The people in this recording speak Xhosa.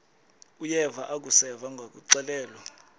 uyeva akuseva ngakuxelelwa